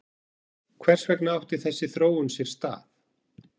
Hvers vegna átti þessi þróun sér stað?